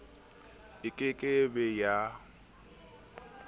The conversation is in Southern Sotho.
e ke ke be ya